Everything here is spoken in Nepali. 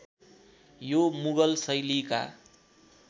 यो मुगल शैलीका